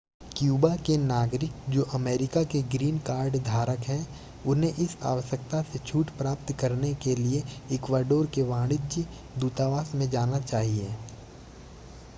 Cuba के नागरिक जो अमेरिका के ग्रीन कार्ड धारक हैं उन्हें इस आवश्यकता से छूट प्राप्त करने के लिए इक्वाडोर के वाणिज्य दूतावास में जाना चाहिए